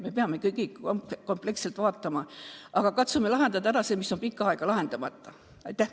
Me peame kompleksselt lähenema, aga katsume likvideerida selle ühe mure, mis on pikka aega lahendamata olnud.